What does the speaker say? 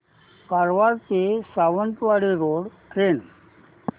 कारवार ते Sawantwadi road train